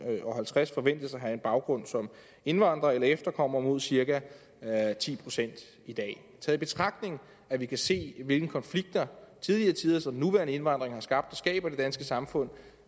og halvtreds forventes at have en baggrund som indvandrere eller efterkommere mod cirka ti procent i dag taget i betragtning at vi kan se hvilke konflikter tidligere tiders og den nuværende indvandring har skabt og skaber i det danske samfund